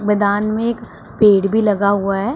मैदान में एक पेड़ भी लगा हुआ है।